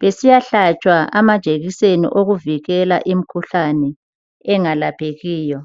besiyahlatshwa amajekiseni okuvikela imkhuhlane engalaphekiyo.